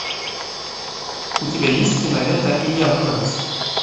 у тебя есть кинолента илья муромец